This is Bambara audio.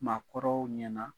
Maakɔrɔw ɲɛna